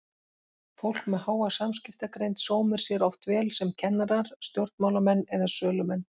Fólk með háa samskiptagreind sómir sér oft vel sem kennarar, stjórnmálamenn eða sölumenn.